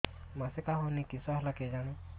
ମାସିକା ହଉନି କିଶ ହେଲା କେଜାଣି